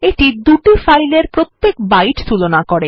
এইটা দুই ফাইল এর প্রত্যেক বাইট তুলনা করে